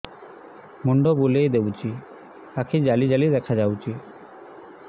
ମୁଣ୍ଡ ବୁଲେଇ ଦଉଚି ଆଖି ଜାଲି ଜାଲି ଦେଖା ଯାଉଚି